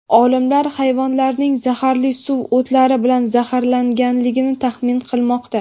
Olimlar hayvonlarning zaharli suv o‘tlari bilan zaharlanganligini taxmin qilmoqda.